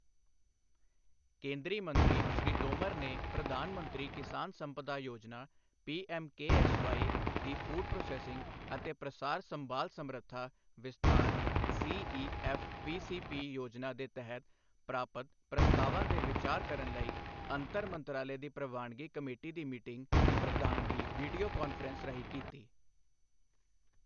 ਕੇਂਦਰੀ ਮੰਤਰੀ ਸ਼੍ਰੀ ਤੋਮਰ ਨੇ ਪ੍ਰਧਾਨ ਮੰਤਰੀ ਕਿਸਾਨ ਸੰਪਦਾ ਯੋਜਨਾ ਪੀਐਮਕੇਐਸਵਾਈ ਦੀ ਫੂਡ ਪ੍ਰੋਸੈਸਿੰਗ ਅਤੇ ਪ੍ਰਸਾਰ ਸੰਭਾਲ ਸਮਰੱਥਾ ਵਿਸਥਾਰ ਸੀਈਐਫਪੀਸੀਪੀ ਯੋਜਨਾ ਦੇ ਤਹਿਤ ਪ੍ਰਾਪਤ ਪ੍ਰਸਤਾਵਾਂ ਤੇ ਵਿਚਾਰ ਕਰਨ ਲਈ ਅੰਤਰ ਮੰਤਰਾਲੇ ਦੀ ਪ੍ਰਵਾਨਗੀ ਕਮੇਟੀ ਦੀ ਮੀਟਿੰਗ ਦੀ ਪ੍ਰਧਾਨਗੀ ਵੀਡੀਓ ਕਾਨਫਰੰਸ ਰਾਹੀਂ ਕੀਤੀ।